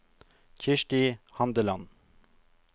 Kirsti Handeland